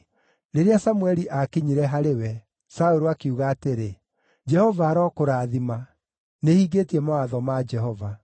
Rĩrĩa Samũeli aakinyire harĩ we, Saũlũ akiuga atĩrĩ, “Jehova arokũrathima! Nĩhingĩtie mawatho ma Jehova.”